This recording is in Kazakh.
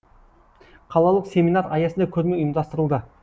қалалық семинар аясында көрме ұйымдастырылды